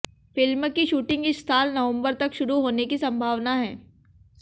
film की shooting इस साल नवंबर तक शुरू होने की संभावना है